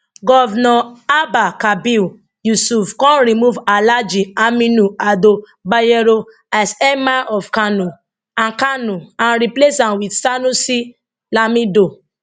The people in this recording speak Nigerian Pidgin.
govnor abba kabir yusuf come remove alhaji aminu ado bayero as emir of kano and kano and replace am wit sanusi lamido